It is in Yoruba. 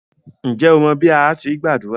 Ǹjẹ́ o mọ bí à á ti gbàdúrà?